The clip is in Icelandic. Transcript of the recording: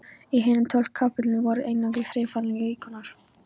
Í hinum tólf kapellunum voru einungis hreyfanlegir íkonar.